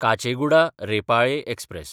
काचेगुडा–रेपाळे express